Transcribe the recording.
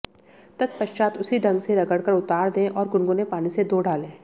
तत्पश्चात् उसी ढंग से रगड़कर उतार दें और गुनगुने पानी से धो डालें